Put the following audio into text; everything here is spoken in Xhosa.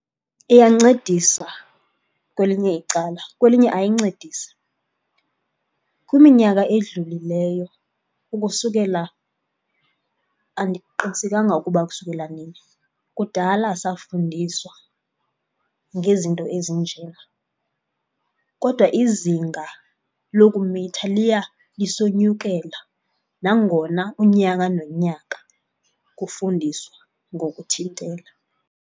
Iyancedisa kwelinye icala, kwelinye ayancedisi. Kwiminyaka edlulileyo ukusukela, andiqinisekanga ukuba ukusukela nini, kudala safundiswa ngezinto ezinjena, kodwa izinga lokumitha liya lisonyukela nangona unyaka nonyaka kufundiswa ngokuthintela.